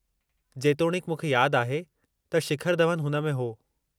जेतोणीकि मूंखे यादि आहे त शिखर धवन हुन में हो।